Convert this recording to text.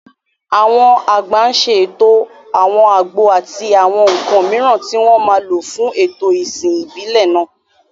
Àwọn àgbà ń ṣètò àwọn àgbo àti àwọn nǹkan mìíràn tí wọ́n máa lò fún ètò ìsìn ìbílẹ̀ náà.